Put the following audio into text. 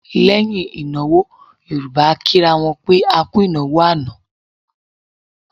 Lẹ́yìn ìnáwó Yorùbá a kì ra wọn pé A kú ìnáwó àná.